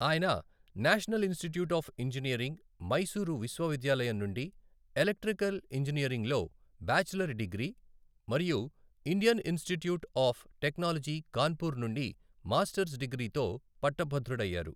ఆయన national institute of engineering, Mysore విశ్వవిద్యాలయం నుండి ఎలక్ట్రికల్ ఇంజనీరింగ్లో బ్యాచిలర్ డిగ్రీ మరియు Indian institute of technology Kanpur నుండి మాస్టర్స్ డిగ్రీతో పట్టభద్రుడయ్యారు.